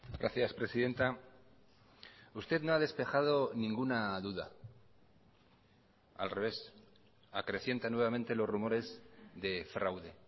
gracias presidenta usted no ha despejado ninguna duda al revés acrecienta nuevamente los rumores de fraude